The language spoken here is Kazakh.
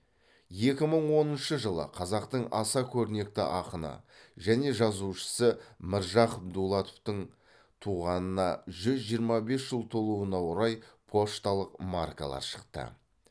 екі мың оныншы жылы қазақтың аса көрнекті ақыны және жазушысы міржақып дулатовтың туғанына жүз жиырма бес жыл толуына орай пошталық маркалар шықты